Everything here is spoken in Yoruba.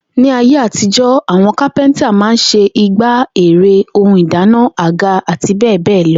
Ní ayé àtijó̩, àwo̩n kápẹ́ntà máa n s̩e igbá, ère, ohun ìdáná, àga, àti bé̩è̩ bé̩è̩ lo̩